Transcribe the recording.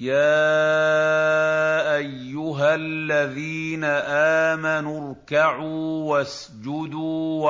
يَا أَيُّهَا الَّذِينَ آمَنُوا ارْكَعُوا وَاسْجُدُوا